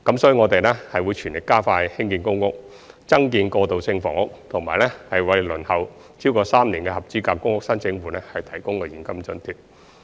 所以，我們會全力加快興建公屋、增建過渡性房屋，以及為輪候超過3年的合資格公屋申請戶提供現金津貼。